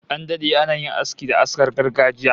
An dade ana yin aski da askar gargajiya